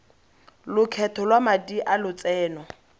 lokgetho lwa madi a lotseno